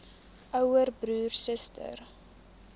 ouer broer suster